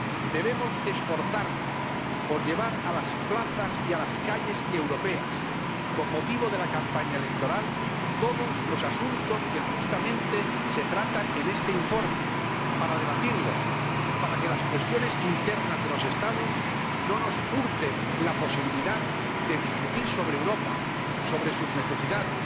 Debemos esforzarnos por llevar a las plazas y a las calles europeas —con motivo de la campaña electoral— todos los asuntos que justamente se tratan en este informe, para debatirlos y para que las cuestiones internas de los Estados no nos hurten la posibilidad de discutir sobre Europa, sobre sus necesidades,